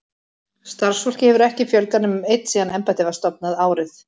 Starfsfólki hefur ekki fjölgað nema um einn síðan embættið var stofnað, árið